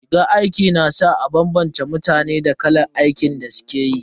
Rigar aiki na sa a bambanta mutane da kalar aikin da suke yi.